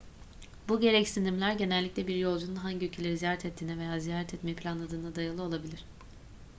bu gereksinimler genellikle bir yolcunun hangi ülkeleri ziyaret ettiğine veya ziyaret etmeyi planladığına dayalı olabilir